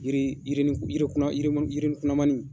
Yiri, yirini yiri kuna yirini kunamani